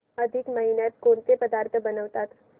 अधिक महिन्यात कोणते पदार्थ बनवतात